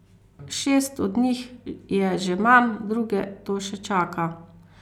Šest od njih je že mam, druge to še čaka.